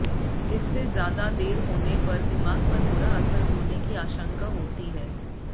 इससे ज्यादा देर होने पर दिमाग पर बुरा असर होने की आशंका होती है